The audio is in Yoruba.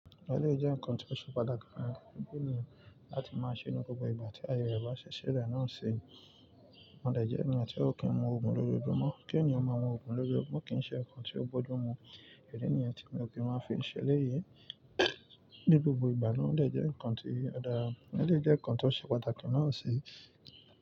Òle jẹ́ nǹkan ti ó ṣe pàtàkì fún fun ènìyàn láti máa ṣe nínú gbogbo ìgbà tí ayẹrẹ bá ṣi silẹ́ náà se. Wọ́n lè jẹ́ ènìyàn tí ó kì í mu òògùn lójoojúmọ́, kí ènìyàn máa mu òògùn lójoojúmọ́ kì í ṣe nǹkan tí ó bójú mu. Èlènìyàn tí mi ò kí máa fi ń ṣele yìí ní gbogbo ìgbà náà lè jẹ́ nǹkan tí ó dára, elèyii jẹ́ nǹkan tó ṣe pàtàkì náà se.